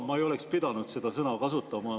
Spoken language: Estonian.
Ma ei oleks pidanud seda sõna kasutama.